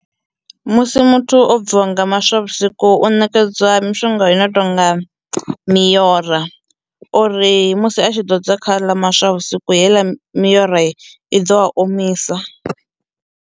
Musi muthu o bviwa nga maswa vhusiku u nekedzwa mishonga i no tonga miora uri musi a tshi ḓodza kha aḽa maswa vhusiku heiḽa miorai i ḓo a omisa.